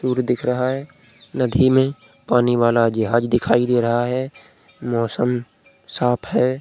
सूर्य दिख रहा है नदी में पानी वाला जहाज दिखाई दे रहा है मौसम साफ़ है।